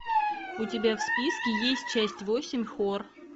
у тебя в списке есть часть восемь хор